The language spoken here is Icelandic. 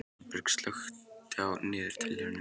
Svanberg, slökktu á niðurteljaranum.